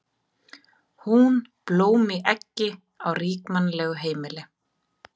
Hún blóm í eggi á ríkmannlegu heimili.